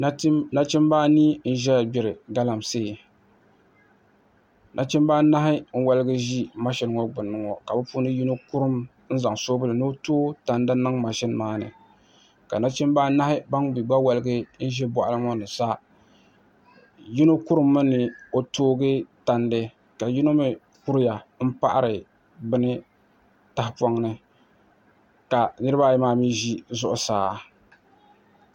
Nachimbi ayi n ʒɛya n gbiri galamsee nachimbi anahi n woligi ʒɛ mashin ŋo gbuni ŋo ka bi puuni yino kurim n zaŋ soobuli ni o tooi tandi niŋ mashin maa ni ka nachimbi anahi gba mii gba woligi n ʒi boɣali ŋo ni sa yino kurimmi ni o toogi tandi ka yino mii kuriya n paɣari bini tahapoŋ ni ka nirabaayi maa mii ʒi zuɣusaa